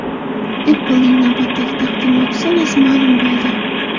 Apple’ning navbatdagi taqdimoti sanasi ma’lum bo‘ldi.